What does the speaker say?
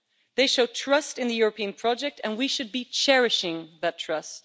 They show trust in the European project and we should be cherishing that trust.